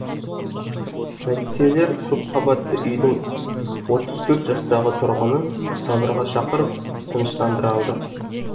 полицейлер көпқабатты үйдің отыз төрт жастағы тұрғынын сабырға шақырып тыныштандыра алды